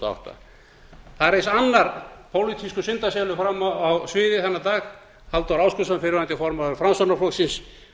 átta það reis annar pólitískur syndaselur fram á sviðið þennan dag halldór ásgrímsson fyrrverandi formaður framsóknarflokksins